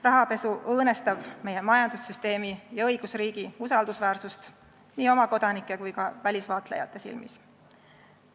Rahapesu õõnestab meie majandussüsteemi ja õigusriigi usaldusväärsust nii oma kodanike kui ka välisvaatlejate silmis.